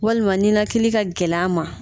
Walima ninakili ka gɛlɛn a ma